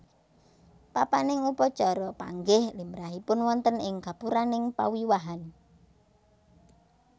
Papaning upacara panggih limrahipun wonten ing gapuraning pawiwahan